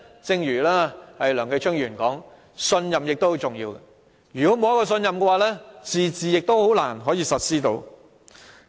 正如梁繼昌議員所說，信任也很重要，如果沒有信任，"自治"亦難以實施。